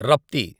Rapti